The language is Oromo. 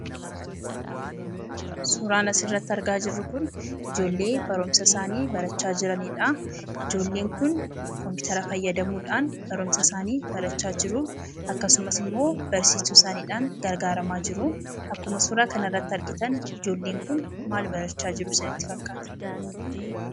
Suuraan asirratti argaa jirru kun ijoollee barumsa isaanii barachaa jiranidha. Ijoolleen kun kompitara fayyadamuudhaan barumsa isaanii barachaa jiru. Akkasumas immoo barsiistuusaaniidhaan gargaaramaa jiruu. Akkuma suuraa kanarratti argitan ijoolleen kun maal barachaa jiru sinitti fakkaata?